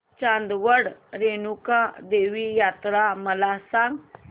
चांदवड रेणुका देवी यात्रा मला सांग